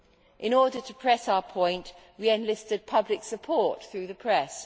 In order to press our point, we enlisted public support through the press.